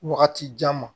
Wagati jan ma